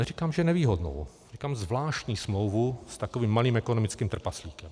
Neříkám, že nevýhodnou, říkám zvláštní smlouvu s takovým malým ekonomickým trpaslíkem.